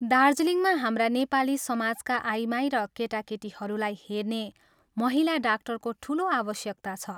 दार्जीलिङमा हाम्रा नेपाली समाजका आइमाई र केटाकेटीहरूलाई हेर्ने महिला डाक्टरको ठूलो आवश्यकता छ।